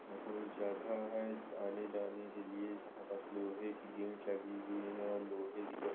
कोई जगह है। आने जाने के लिए यहाँ बस लोहे की गेट लगी हुई है और लोहे की --